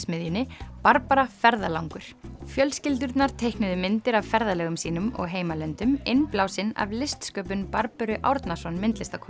teiknismiðjunni Barbara ferðalangur fjölskyldurnar teiknuðu myndir af ferðalögum sínum og heimalöndum innblásin af listsköpun Barböru Árnason